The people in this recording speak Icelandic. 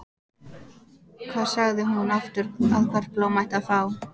Hvað sagði hún aftur að hvert blóm ætti að fá?